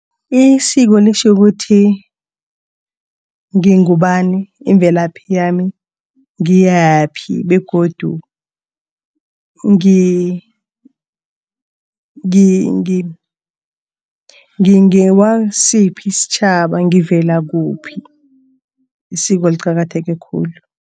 Isiko litjhukuthi ngingubani imvelaphi yami? Ngiyaphi begodu ngingewasiphi isitjhaba? Ngivela kuphi? Isiko liqakatheke khulu.